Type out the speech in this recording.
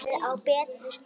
Komin á betri stað.